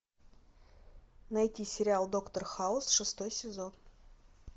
найти сериал доктор хаус шестой сезон